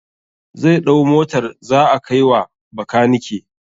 zai ɗau Motar zaa kai wa bakanike.